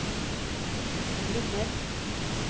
Lunner